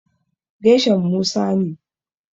Gershom Musa ne.